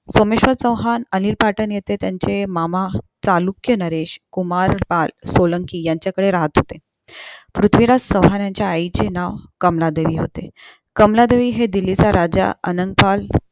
सोमेश्वर चौहान अनिल पाठन येथे त्यांचे मामा चालुक्य नरेश कुमार पाल सोलांकी यांच्या कडे राहत होते पृथ्वीराज चौहान यांच्या आई चे नाव कमलादेवी होते कमलादेवी हे दिल्ली चा राजा अनंतपाल